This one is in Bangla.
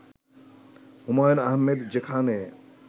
হুমায়ূন আহমেদ যেখানে